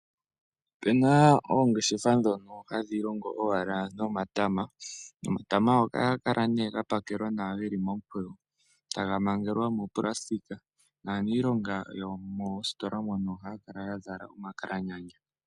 Opuna oongeshefa dhono hadhi longo owala nomatama, nomatama ohaga kala nee ga pakelwa momukweyo taga mangelwa muufagalala, naaniilonga yomoositola mono ohaya kala yazala omakalaganya.